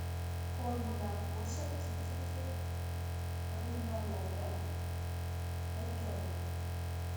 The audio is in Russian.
корм для кошек китикет рыбная ловля пять килограмм